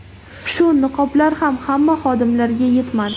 Shu niqoblar ham hamma xodimlarga yetmadi.